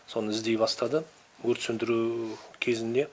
соны іздей бастады өрт сөндіру кезінде